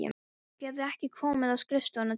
Geturðu ekki komið á skrifstofuna til mín?